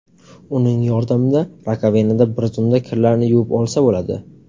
Uning yordamida rakovinada bir zumda kirlarni yuvib olsa bo‘ladi.